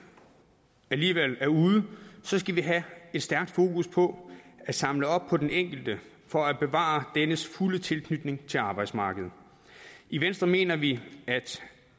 alligevel er ude skal vi have et stærkt fokus på at samle op på den enkelte for at bevare dennes fulde tilknytning til arbejdsmarkedet i venstre mener vi at